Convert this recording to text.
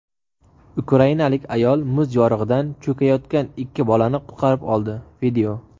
Ukrainalik ayol muz yorig‘idan cho‘kayotgan ikki bolani qutqarib oldi.